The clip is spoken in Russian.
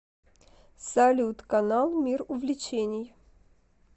салют канал мир увлечений